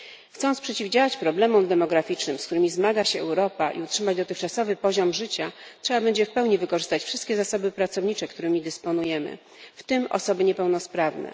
Chcąc przeciwdziałać problemom demograficznym, z którymi zmaga się Europa i utrzymać dotychczasowy poziom życia, trzeba będzie w pełni wykorzystać wszystkie zasoby pracownicze, jakimi dysponujemy, w tym osoby niepełnosprawne.